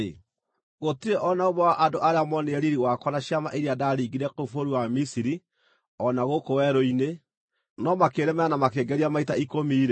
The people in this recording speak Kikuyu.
gũtirĩ o na ũmwe wa andũ arĩa moonire riiri wakwa na ciama iria ndaringĩire kũu bũrũri wa Misiri o na gũkũ werũ-inĩ, no makĩĩnemera na makĩĩngeria maita ikũmi-rĩ,